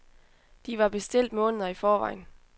De var bestilt måneder i forvejen.